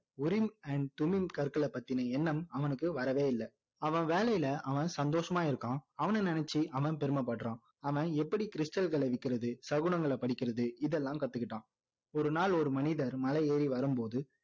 கற்கள பththiன எண்ணம் அவனுக்கு வரவே இல்ல அவன் வேலையில அவன் சந்தோஷமா இருக்கான் அவன நினைச்சி அவன் பெruமை படுறான் அவன் எப்படி stal கள விற்கிறது சகுனகள படிக்கிறது இதெல்லாம் கத்துக்கிட்டான்